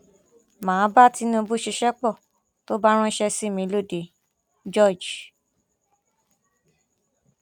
mà á bá tinubu ṣiṣẹ pọ tó bá ránṣẹ sí mi còde george